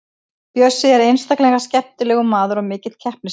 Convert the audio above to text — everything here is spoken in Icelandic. Bjössi er einstaklega skemmtilegur maður og mikill keppnismaður.